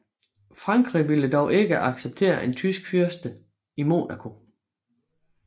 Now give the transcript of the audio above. Frankrig ville dog ikke acceptere en tysk fyrste i Monaco